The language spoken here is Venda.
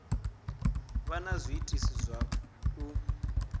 vha na zwiitisi zwa u